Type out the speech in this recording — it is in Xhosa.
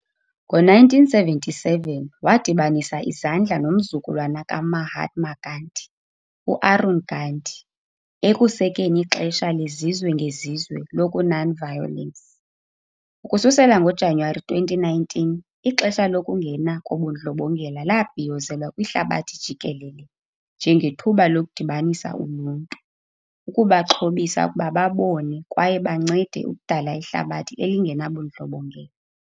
Ngo-1997 wadibanisa izandla nomzukulwana ka-Mahatma Gandhi, u-Arun Gandhi, ekusekeni "iXesha lezizwe ngezizwe lokuNonviolence". Ukususela ngoJanuwari 2019, "iXesha lokuNgena koBundlobongela" labhiyozelwa kwihlabathi jikelele njengethuba "lokudibanisa uluntu, ukubaxhobisa ukuba babone kwaye bancede ukudala ihlabathi elingenabundlobongela."